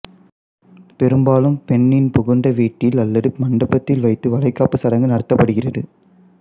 பெரும்பாலும் பெண்ணின் புகுந்த வீட்டில் அல்லது மண்டபத்தில் வைத்து வளைகாப்புச் சடங்கு நடத்தப் படுகிறது